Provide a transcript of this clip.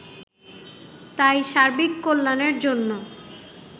তাই সার্বিক কল্যাণের জন্য